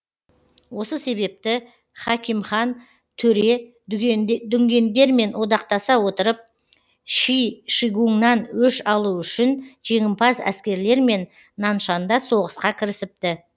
осы себепті хакимхан төре дүнгендермен одақтаса отырып ши шигуңнан өш алу үшін жеңімпаз әскерлермен наншанда соғысқа кірісіпті